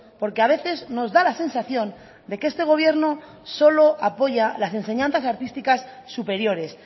porque a veces nos da la sensación de que este gobierno solo apoya las enseñanzas artísticas superiores